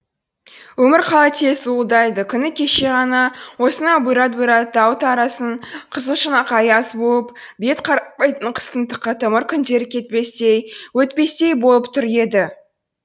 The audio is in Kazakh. өмір қалай тез зуылдайды күні кеше ғана осынау бұйрат бұйрат тау тарасын қызыл шұнақ аяз буып бет қаратпайтын қыстың қытымыр күндері кетпестей өтпестей болып тұр еді